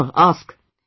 Sure, ask